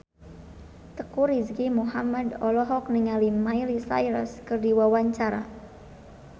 Teuku Rizky Muhammad olohok ningali Miley Cyrus keur diwawancara